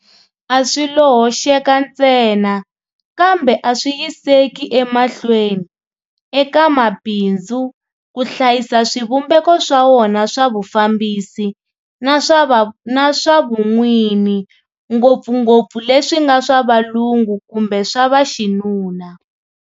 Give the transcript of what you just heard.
A swi lo hoxeka ntsena, kambe a swi yiseki emahlweni, eka mabindzu ku hlayisa swivumbeko swa wona swa vufambisi na swa vun'wini ngopfungopfu leswi nga swa valungu kumbe swa vaxinuna.